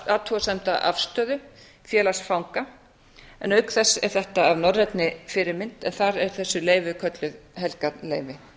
athugasemda afstöðu félags fanga en auk þess er þetta að norrænni fyrirmynd en þar eru þessu leyfi kölluð helgarleyfi